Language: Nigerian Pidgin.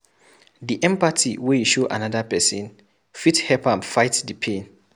Di empathy wey you show anoda pesin fit help am fight di pain.